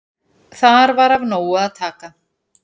Þar var af nógu að taka.